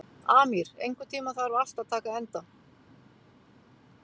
Amír, einhvern tímann þarf allt að taka enda.